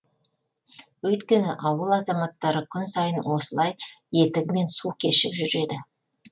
өйткені ауыл азаматтары күн сайын осылай етігімен су кешіп жүреді